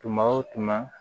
Tuma o tuma